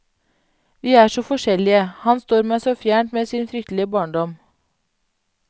Vi er så forskjellige, han står meg så fjernt med sin fryktelige barndom.